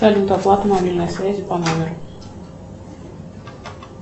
салют оплата мобильной связи по номеру